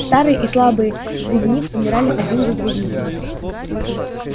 старые и слабые среди них умирали один за другим